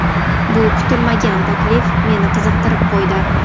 Bu kutilmagan taklif meni qiziqtirib qo‘ydi.